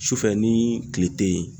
Sufɛ ni kile tɛ ye.